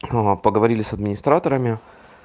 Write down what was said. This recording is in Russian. ну вот поговорили с администраторами